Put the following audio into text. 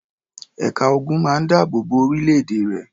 Ẹ̀ka ogun máa ń dáàbò bo orílẹ̀-èdè rẹ̀.